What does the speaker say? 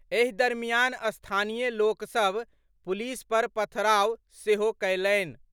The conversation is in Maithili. एहि दरमियान स्थानीय लोक सभ पुलिस पर पथराव सेहो कयलनि।